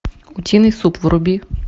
утиный суп вруби